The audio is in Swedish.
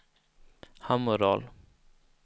Hammerdal